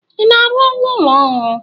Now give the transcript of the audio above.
I na-arụ ụlọ ọhụrụ?